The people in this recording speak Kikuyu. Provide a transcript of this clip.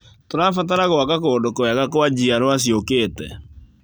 Tũrabatara gwaka kũndũ kwega kwa njiarwa ciũkĩte.